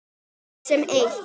Öll sem eitt.